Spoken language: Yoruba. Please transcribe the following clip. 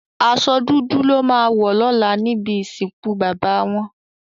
Àsò dúdú lò má wò lòlá nibi isinkú baba wòn